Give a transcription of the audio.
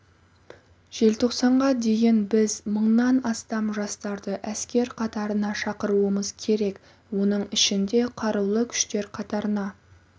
желтоқсанға дейін біз мыңнан астам жастарды әскер қатарына шақыруымыз керек оның ішінде қарулы күштер қатарына